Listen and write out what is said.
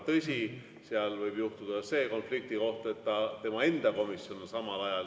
Tõsi, seal võib juhtuda see konfliktikoht, et tema enda komisjoni istung on samal ajal.